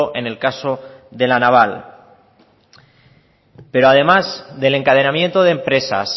en el caso de la naval pero además de el encadenamiento de empresas